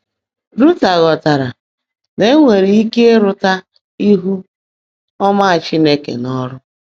Luther ghọtara na e nwere ike ịrụta ihu ọma Chineke n’ọrụ.